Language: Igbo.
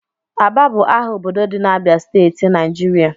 Aba bụ aha obodo dị na Abịa steeti, Naịjirịa